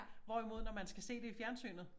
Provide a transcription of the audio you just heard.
Hvorimod når man skal se det i fjernsynet